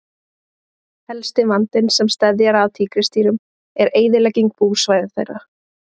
Helsti vandinn sem steðjar að tígrisdýrum er eyðilegging búsvæða þeirra.